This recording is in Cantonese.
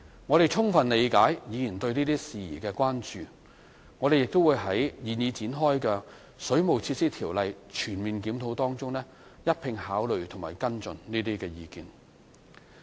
我們充分理解議員對這些事宜的關注，亦會在現已展開的《水務設施條例》全面檢討中一併考慮和跟進這些意見。